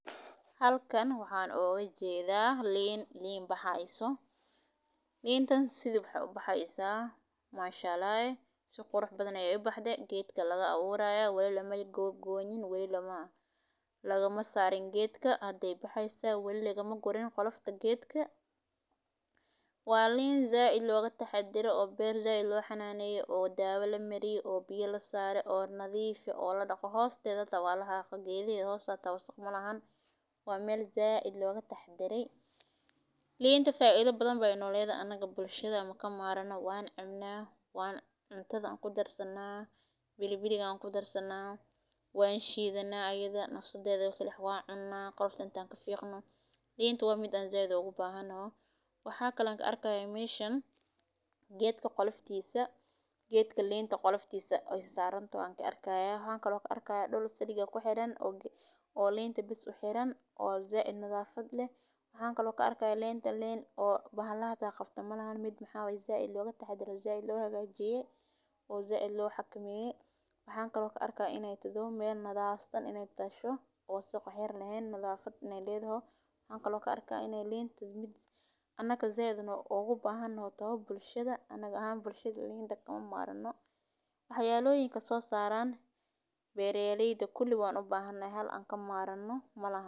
Halkan waxan oga jeeda lin, lin baxi hayso lintan sithi waxee u baxi haysa manshaallah eh geedka aya laga aburi haya wali mala goynin wali malaga sarin geedka hada ayey baxi haysa wali lagama gurin qolofta geedka waa lin said loga taxadare oo beer said lo xananeye oo dawa said lo mariyey oo biya lasare oo nadhiif ah hosteeda hata waa laxaqe wasaq malahan waa meel said loga taxadarey linta faidho badan ayey no ledhahay, wan cuna qolofta intan kafiqno linta waa mid said an ogu bahanoho linta waa mid an said ogu bahanoho waxan kalo ka arki haya meshan waa geedka goloftisa waxan arki haya dul silig ku xiran oo linta bes u xiran oo said nadhafaad leh waxan kalo ka arki haya linta lin bahalaha qabto hata ma ahan waa mid said loga taxadare oo said lo hagajiyey oo said lo xakameyo, waxan kalo karki haya in an said ogu bahanoho, wax yalalaha sosaro beera leyda kuli kama marano wan u bahana hay malaha.